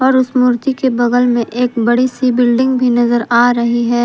और उस मूर्ति के बगल में एक बड़ी सी बिल्डिंग भी नजर आ रही है।